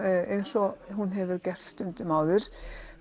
eins og hún hefur gert stundum áður